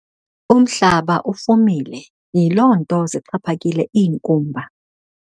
Umhlaba ufumile yiloo nto zixhaphakile iinkumba.